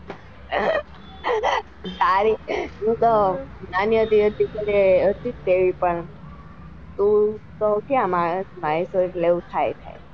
હું તો નાની હતી એટલે હતી જ એવી પણ તું તો ક્યાં માનસ માં હતો એટલે આવું થાય.